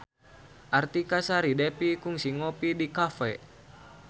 Artika Sari Devi kungsi ngopi di cafe